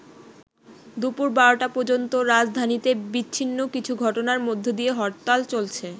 দুপুর ১২টা পর্যন্ত রাজধানীতে বিচ্ছিন্ন কিছু ঘটনার মধ্য দিয়ে হরতাল চলছে।